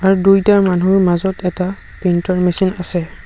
আৰু দুইটাৰ মানুহৰ মাজত এটা প্ৰিণ্টৰ মেচিন আছে।